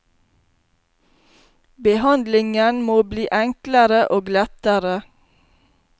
Behandlingen må bli enklere og lettere.